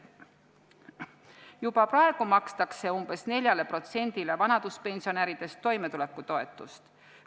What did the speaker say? Juba praegu makstakse umbes 4%-le vanaduspensionäridest toimetulekutoetust.